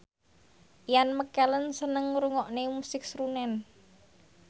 Ian McKellen seneng ngrungokne musik srunen